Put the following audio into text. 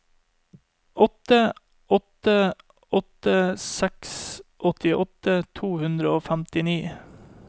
åtte åtte åtte seks åttiåtte to hundre og femtini